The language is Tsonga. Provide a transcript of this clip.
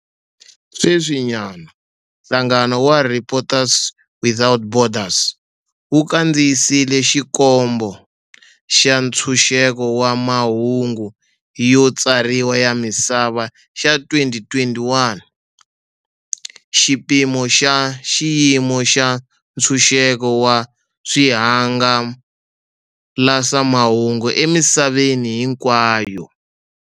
Sweswinyana, nhlangano wa Reporters without Borders wu kandziyise Xikombo xa Ntshunxeko wa Mahungu yo Tsariwa ya Misava xa 2021, xipimo xa xiyimo xa ntshunxeko wa swihangalasamahungu emisaveni hinkwayo.